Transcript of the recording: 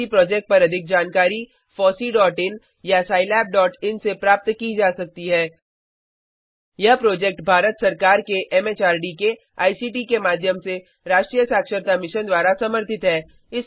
FOSSEE project पर अधिक जानकारी httpfosseein या httpscilabin से प्राप्त की जा सकती है यह प्रोजेक्ट भारत सरकार के एमएचआरडी के आईसीटी के माध्यम से राष्ट्रीय साक्षरता मिशन द्वारा समर्थित है